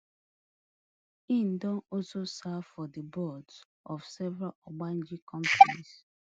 e don also serve for di boards of several ogbonge companies